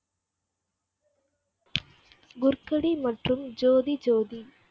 குர்கடி மற்றும் ஜோதி ஜோதி